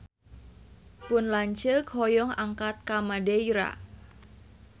Pun lanceuk hoyong angkat ka Madeira